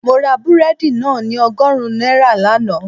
Mo ra búrẹ́dì náà ní ọgọ́rùn-ún náírà lánàá